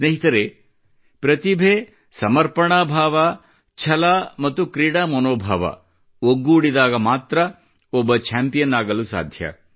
ಸ್ನೇಹಿತರೆ ಪ್ರತಿಭೆ ಸಮರ್ಪಣಾಭಾವ ಛಲ ಮತ್ತಿ ಕ್ರೀಡಾ ಮನೋಭಾವ ಒಗ್ಗೂಡಿದಾಗ ಮಾತ್ರ ಒಬ್ಬ ಚಾಂಪಿಯನ್ ಆಗಲು ಸಾಧ್ಯ